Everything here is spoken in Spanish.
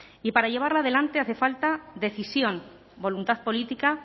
y para llevarla adelante hace falta decisión voluntad política